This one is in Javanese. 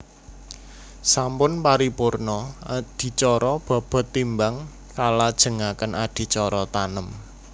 Sampun paripurna adicara bobot timbang kalajengaken adicara tanem